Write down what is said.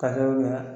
Ka sababu kɛ